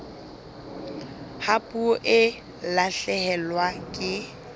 ha puo e lahlehelwa ke